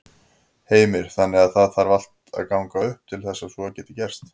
Heimir: Þannig að það þarf allt að ganga upp til þess að svo geti gerst?